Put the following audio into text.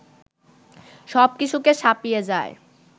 সব কিছুকে ছাপিয়ে যায়